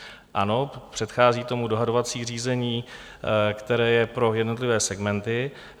Ano, předchází tomu dohadovací řízení, které je pro jednotlivé segmenty.